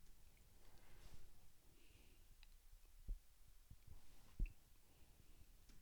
Dovolj je imel izkoriščanja obeh vladarjev in stalnega obtoževanja stolpičev, kateri je lepši in boljši.